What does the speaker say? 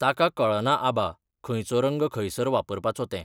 ताका कळना आबा, खंयचो रंग खंयसर वापरपाचो तें.